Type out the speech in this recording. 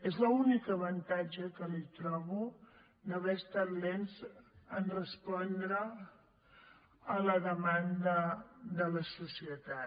és l’únic avantatge que li trobo d’haver estat lents en respondre a la demanda de la societat